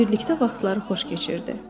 Birlikdə vaxtları xoş keçirdi.